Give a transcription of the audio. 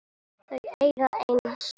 Þau eiga einn son.